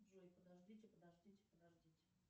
джой подождите подождите подождите